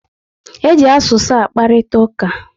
E ji asụsụ akparitauka